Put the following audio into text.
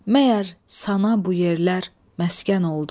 Məgər sana bu yerlər məskən oldu.